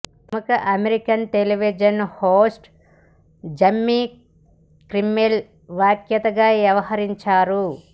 ప్రముఖ American television host Jimmy Kimmel వ్యాఖ్యాతగా వ్యవహరించారు